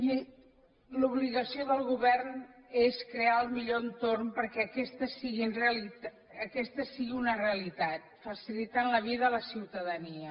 i l’obligació del govern és crear el millor entorn perquè aquesta sigui una realitat facilitant la vida a la ciutadania